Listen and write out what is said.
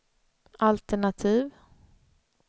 altenativ